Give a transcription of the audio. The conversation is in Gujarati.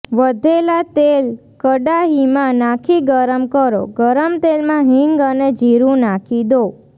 વધેલા તેલ કડાહીમાં નાખી ગરમ કરો ગરમ તેલમાં હીંગ અને જીરું નાખી દો